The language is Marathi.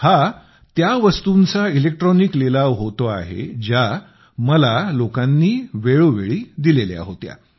हा त्या वस्तूंचा इलेक्ट्रॉनिक लिलाव होतो आहे ज्या मला वेळोवेळी लोकांनी दिलेल्या होत्या